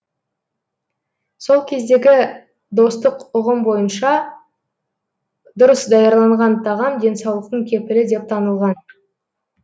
сол кездегі достық ұғым бойынша дұрыс даярланған тағам денсаулықтың кепілі деп танылған